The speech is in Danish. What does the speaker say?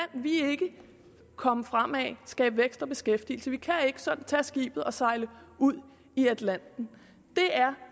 vi ikke komme fremad og skabe vækst og beskæftigelse vi kan ikke sådan tage skibet og sejle ud i atlanten